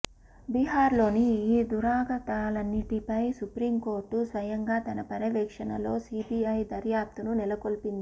బీహార్లోని ఈ దురాగతాలన్నింటిపై సుప్రీంకోర్టు స్వయంగా తన పర్యవేక్షణలో సిబిఐ దర్యాప్తును నెలకొల్పింది